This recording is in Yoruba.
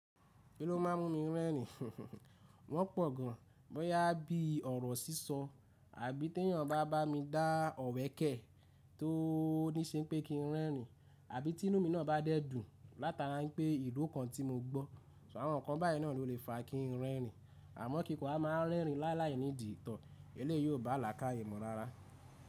Kí ló má a mú mi rẹ́rìn? Wọ́n pọ̀ gan. Bóyá bí ọ̀rọ̀ sísọ àbí tí ẹ̀yàn bá bá mi dá ọ̀wẹ́kẹ̀ tó ní ṣe pé kí n rẹ́rìn àbí ti inú mí náà bá dẹ́dùn látara pé ìró kan tí mo gbọ́. So àwọn ǹkan báyìí náà ló lè fa kí n rẹ́rìn. Àmọ́ kí ko wa má a ń rẹ́rìn lálàyí ní dì tọ̀, eléyìí ó bá làkáye mu rárá.